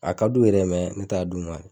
A ka d'u ye dɛ n t'a d'u ma.